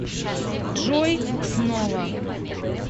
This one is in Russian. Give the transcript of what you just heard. джой кснова